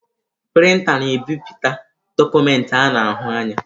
Prịnta na-ebipụta dọkụmentị a na-ahụ anya.